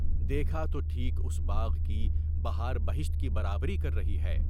دیکھا تو ٹھیک، اُس باغ کی بہار بہشت کی برابری کر رہی ہے۔